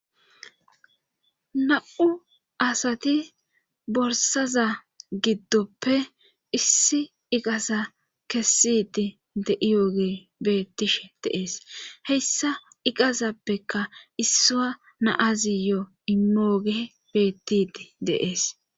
Na7u asati borsaza giddoppe issi iqasa kessidi deiyoge beettishe deees heyssa iqazappeka issua naaziyo imooge beettidi deees.